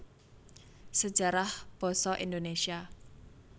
Sejarah Basa Indonesia